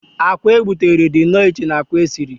akwa a gbutere dị nnọọ iche na akwa sie